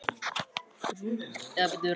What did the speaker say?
Segist bara hafa verið með Rúnu.